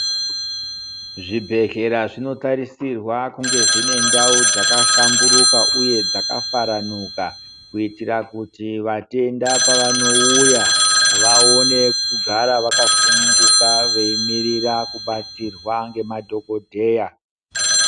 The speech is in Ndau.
Zvibhedhlera zvinotarisirwa kunge zvine ndau dzakahlamburuka uye faranuka uye matenda pavanouya vaone kugara vakasununguka veimurira kubatsirwa nemadhokodheya.